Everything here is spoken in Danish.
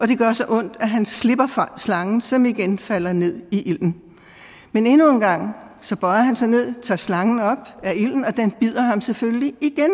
det gør så ondt at han slipper slangen som igen falder ned i ilden men endnu engang bøjer han sig ned og tager slangen op af ilden og den bider ham selvfølgelig igen